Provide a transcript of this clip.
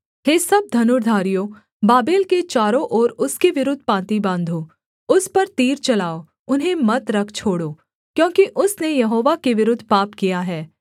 हे सब धनुर्धारियो बाबेल के चारों ओर उसके विरुद्ध पाँति बाँधो उस पर तीर चलाओ उन्हें मत रख छोड़ो क्योंकि उसने यहोवा के विरुद्ध पाप किया है